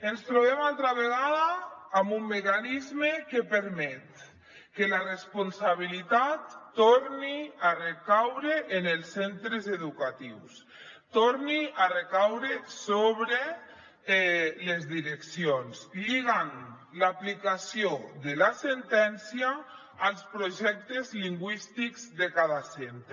ens trobem altra vegada amb un mecanisme que permet que la responsabilitat torni a recaure en els centres educatius torni a recaure sobre les direccions lligant l’aplicació de la sentència als projectes lingüístics de cada centre